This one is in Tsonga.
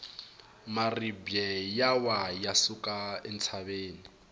maribye ya wa ya suka entshaveni